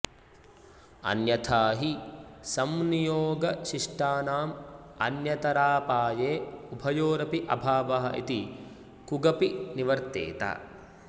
अन्यथा हि संनियोगशिष्टानाम् अन्यतरापाये उभयोरपि अभावः इति कुगपि निवर्तेत